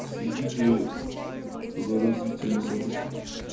следите за развитием событий